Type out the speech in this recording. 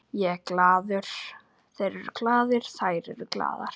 Ég er glaður, þeir eru glaðir, þær eru glaðar.